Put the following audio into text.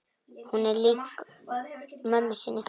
Hún er lík mömmu sinni.